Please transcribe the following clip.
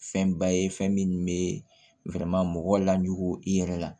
Fɛnba ye fɛn min bɛ mɔgɔw lajugu i yɛrɛ la